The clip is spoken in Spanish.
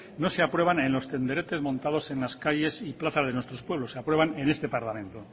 no se aprueban en los tenderetes montados en las calles y plazas de nuestros pueblos se aprueban en este parlamento